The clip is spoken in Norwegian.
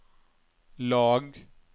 lag